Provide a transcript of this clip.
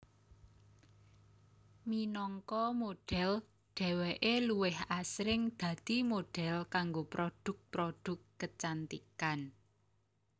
Minangka modhel dheweké luwih asring dadi model kanggo produk produk kecantikan